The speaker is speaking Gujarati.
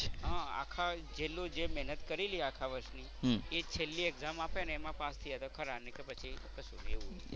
હા આખા છેલ્લું જે મહેનત કરેલી આખા વર્ષ ની એ છેલ્લી exam આપે ને એમાં પાસ થઈએ તો ખરા નહીં તો પછી કશું નહીં. એવું છે.